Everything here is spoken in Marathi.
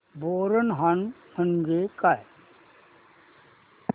बोरनहाण म्हणजे काय